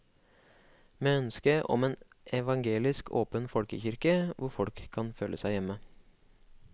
Med ønske om en evangelisk åpen folkekirke hvor folk kan føle seg hjemme.